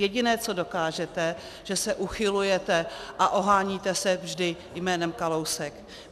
Jediné, co dokážete, že se uchylujete a oháníte se vždy jménem Kalousek.